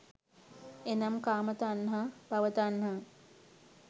එනම් කාම තණ්හා, භව තණ්හා,